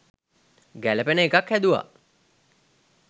ගැළපෙන එකක් හැදුවා